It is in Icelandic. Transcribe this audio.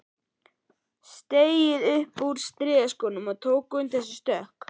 Steig upp úr strigaskónum og tók undir sig stökk.